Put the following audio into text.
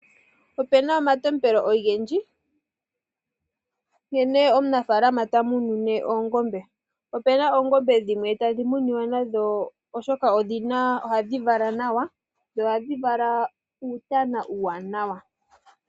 Opena omatopelo ogendji nkene omunafalama ta munune oongombe. Ope na oongombe dhimwe tadhi muniwa nadho oshoka odhina ohadhi vala nawa dho ohadhi vala uuntana uuwanawa.